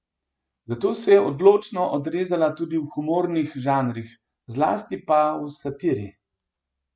Zato se je odlično odrezala tudi v humornih žanrih, zlasti pa v satiri.